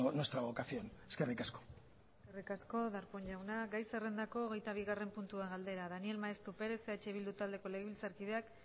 nuestra vocación eskerrik asko eskerrik asko darpón jauna gai zerrendako hogeitabigarren puntua galdera daniel maeztu perez eh bildu taldeko legebiltzarkideak